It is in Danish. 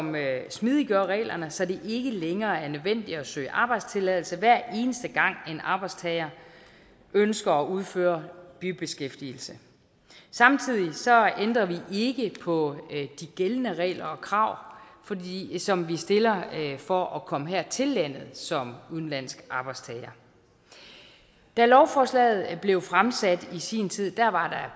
smidiggør reglerne så det ikke længere er nødvendigt at søge arbejdstilladelse hver eneste gang en arbejdstager ønsker at udføre bibeskæftigelse samtidig ændrer vi ikke på de gældende regler og krav som vi stiller for at komme her til landet som udenlandsk arbejdstager da lovforslaget blev fremsat i sin tid var